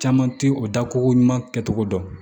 Caman ti o da ko ɲuman kɛ togo dɔn